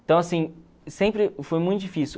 Então, assim, sempre foi muito difícil.